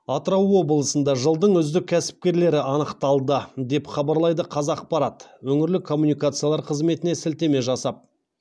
атырау облысында жылдың үздік кәсіпкерлері анықталды деп хабарлайды қазақпарат өңірлік коммуникациялар қызметіне сілтеме жасап